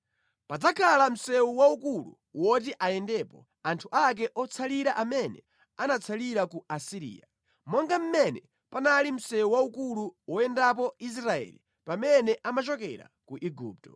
Padzakhala msewu waukulu woti ayendepo anthu ake otsalira amene anatsalira ku Asiriya, monga mmene panali msewu waukulu woyendapo Israeli pamene amachokera ku Igupto.